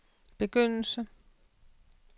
begyndelse